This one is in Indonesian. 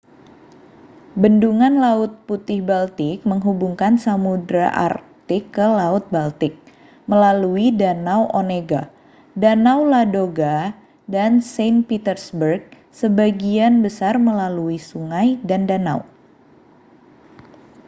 bendungan laut putihâ€ baltik menghubungkan samudra arktik ke laut baltik melalui danau onega danau ladoga dan saint petersburg sebagian besar melalui sungai dan danau